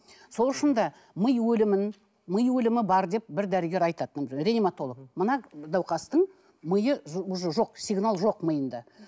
сол үшін де ми өлімін ми өлімі бар деп бір дәрігер айтады реанимотолог мына науқастың миы уже жоқ сигнал жоқ миында